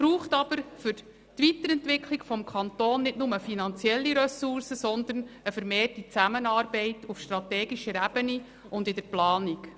Für die Weiterentwicklung des Kantons braucht es jedoch nicht nur finanzielle Ressourcen, sondern eine vermehrte Zusammenarbeit auf strategischer Ebene und in der Planung.